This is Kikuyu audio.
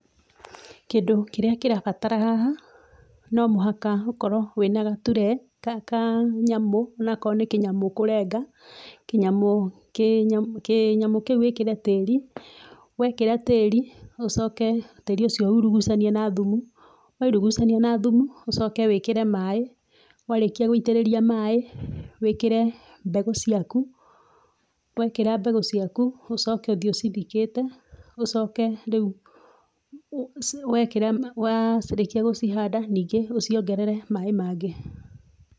Kĩndũ kĩrĩa kĩrabatara haha no mũhaka ũkorwo wĩna gaturee, ka, kanyamũ, onakorwo nĩ kĩnyamũ ũkũrenga, kĩnyamũ, kĩnya, kĩnyamũ kĩũ wĩkĩre tĩri, wekĩra tĩri ũcoke tĩri ũcio urugucanie na thumu. Wairugucania na thumu ũcoke wĩkĩre maaĩ, warĩkia gũitĩrĩrĩa maaĩ wĩkĩre mbegũ ciaku, wekĩra mbegũ ciaku ũcoke ũthiĩ ũcithikĩte, ũcoke rĩu, wekĩra, warĩkia gũcihanda ningĩ ũciongerere maaĩ mangĩ.